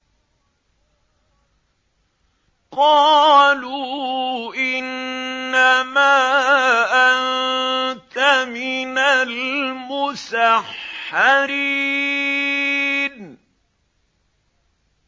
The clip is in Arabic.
قَالُوا إِنَّمَا أَنتَ مِنَ الْمُسَحَّرِينَ